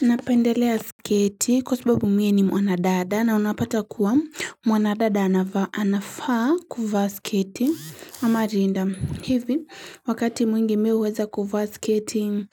Napendelea sketi kwa sababu mimi ni mwana dada na unapata kuwa mwana dada anafaa kuvaa sketi ama linda hivi wakati mwingi mimi huweza kuvaa sketi